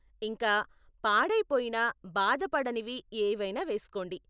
ఇంకా, పాడైపోయినా బాధపడనివి ఏవైనా వేస్కోండి!